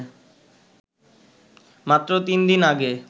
মাত্র তিন দিন আগে